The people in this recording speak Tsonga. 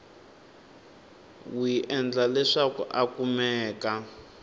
wi endla leswaku a kumeka